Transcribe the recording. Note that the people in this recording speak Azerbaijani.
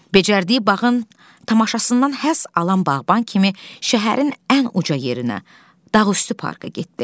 Becərdiyi bağın tamaşasından həzz alan bağban kimi şəhərin ən uca yerinə, dağüstü parka getdi.